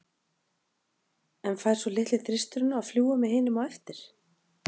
En fær svo litli þristurinn að fljúga með hinum á eftir?